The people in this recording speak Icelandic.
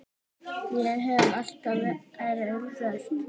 Ég hef alltaf verið hraust.